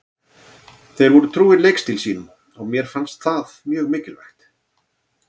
Þeir voru trúir leikstíl sínum og mér finnst það mjög mikilvægt.